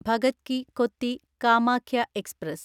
Bhagat Ki Kothi Kamakhya express